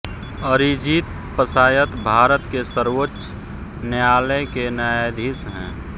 अरिजीत पशायत भारत के सर्वोच्च न्यायालय के न्यायाधीश हैं